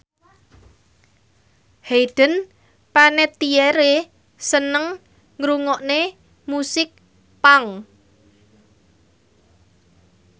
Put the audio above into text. Hayden Panettiere seneng ngrungokne musik punk